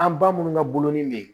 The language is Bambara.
An ba minnu ka boloni be yen